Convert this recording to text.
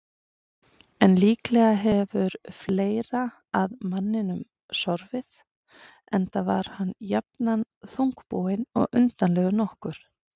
En líklega hefur fleira að manninum sorfið, enda var hann jafnan þungbúinn og undarlegur nokkuð.